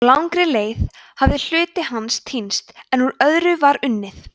á langri leið hafði hluti hans týnst en úr öðru var unnið